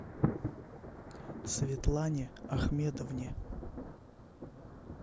светлане ахмедовне